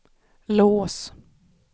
lås